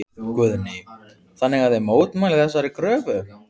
Guðný: Þannig að þið mótmælið þessari kröfu?